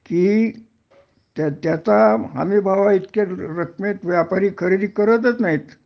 कि त्या त्याचा हमीभाव इतक्या व्यापारी खरेदी करतच नाहीत